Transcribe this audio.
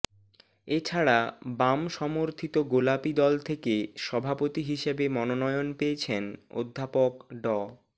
এছাড়া বাম সমর্থিত গোলাপী দল থেকে সভাপতি হিসেবে মনোনয়ন পেয়েছেন অধ্যাপক ড